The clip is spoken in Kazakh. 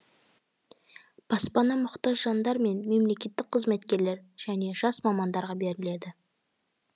баспана мұқтаж жандар мен мемлекеттік қызметкерлер және жас мамандарға беріледі